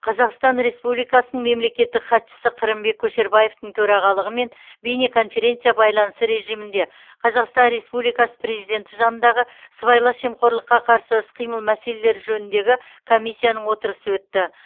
қазақстан республикасының мемлекеттік хатшысы қырымбек көшербаевтың төрағалығымен бейнеконференция байланысы режимінде қазақстан республикасы президенті жанындағы сыбайлас жемқорлыққа қарсы іс қимыл мәселелері жөніндегі комиссияның отырысы өтті